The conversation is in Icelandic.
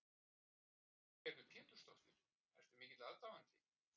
Lillý Valgerður Pétursdóttir: Ertu mikill aðdáandi?